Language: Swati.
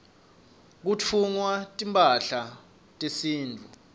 kutfungwa timphahla tesintfu